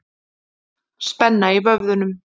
Spenna í vöðvunum.